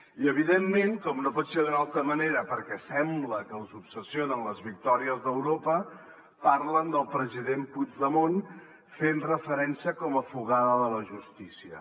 i evidentment com no pot ser d’una altra manera perquè sembla que els obsessionen les victòries d’europa parlen del president puigdemont fent hi referència com a fugat de la justícia